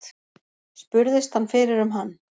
Spurðist hann fyrir um hann.